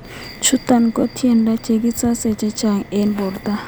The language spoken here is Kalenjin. Chutok ko tindoi kasishek chechang ing porto.